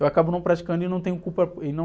eu acabo não praticando e não tenho culpa.